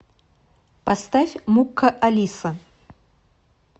поставь мукка алиса